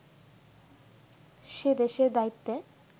সে দেশের দায়িত্বে